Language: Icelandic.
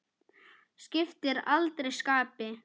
Skiptir aldrei skapi.